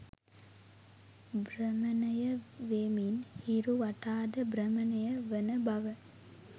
භ්‍රමණය වෙමින් හිරු වටාද භ්‍රමණය වන බව